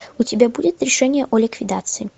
у тебя будет решение о ликвидации